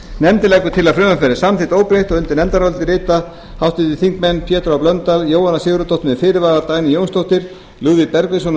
nefndin leggur til að frumvarpið verði samþykkt óbreytt undir nefndarálitið rita háttvirtir þingmenn pétur h blöndal jóhanna sigurðardóttir með fyrirvara dagný jónsdóttir lúðvík bergvinsson með